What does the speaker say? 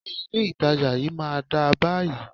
Ṣé ilé itàjà yìí má ń dá báyìí?